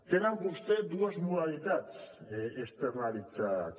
tenen vostès dues modalitats externalitzades